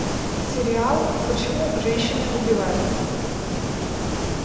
сериал почему женщины убивают